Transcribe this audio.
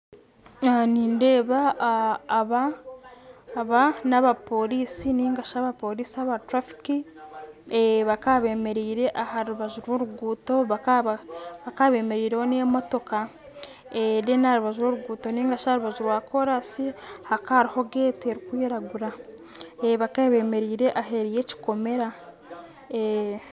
Aha ninideeba aba n'abaporiisi ningashi abaporiisi aba turafiki bakaba bemeriire aha rubaju rw'oruguuto bakaba bemeriireho n'emotoka aha rubaju rwa rw'oruguuto ningashi aha rubaju rwa koraasi hakaba hariho geeti erikwiragura bakaba bemeriire aheeru y'ekikomera